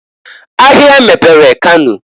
Ahia mepere Kano.